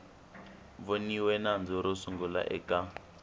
voniwe nandzu ro sungula eka